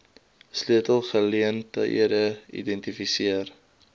sleutel geleenthede identifiseer